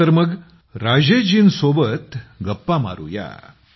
चला तर मग राजेश जीं सोबत गप्पा मारूया